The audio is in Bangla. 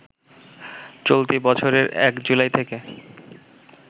চলতি বছরের ১ জুলাই থেকে